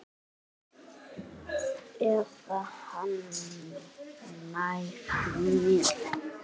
Eða hann nær mér.